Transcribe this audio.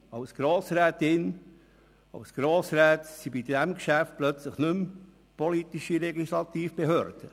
Sie als Grossrätin oder Grossrat sind bei diesem Geschäft plötzlich nicht mehr die politische Legislativbehörde.